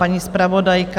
Paní zpravodajka?